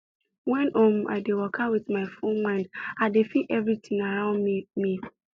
when um i dey waka with my full mind i dey feel everitin around me me